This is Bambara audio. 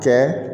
Kɛ